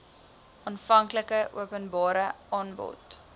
aanvanklike openbare aanbod